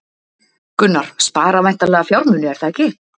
Gunnar: Spara væntanlega fjármuni, er það ekki?